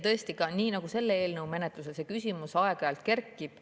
Tõesti, nii nagu ka selle eelnõu menetluses, see küsimus aeg-ajalt kerkib.